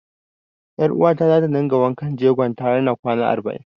Ƴaruwata za ta dinga wanken jegon ta har na kwana arba'in.